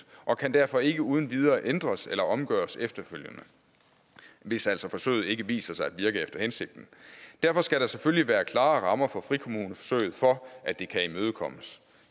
og kan derfor ikke uden videre ændres eller omgøres efterfølgende hvis altså forsøget viser sig ikke at virke efter hensigten derfor skal der selvfølgelig være klare rammer for frikommuneforsøget for at det kan imødekommes